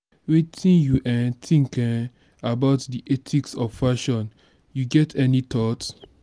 wetin you um think um about di ethics of fashion you get any thought?